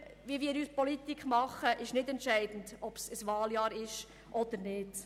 Für unsere Politik ist es nicht entscheidend, ob es sich um ein Wahljahr handelt oder nicht.